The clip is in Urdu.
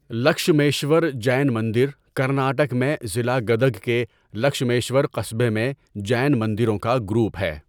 لکشمیشور جین مندر کرناٹک میں ضلع گدگ کے لکشمیشور قصبے میں جین مندروں کا گروپ ہے۔